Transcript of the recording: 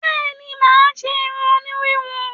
Bẹ́ẹ̀ni mà á ṣé irun òní híhun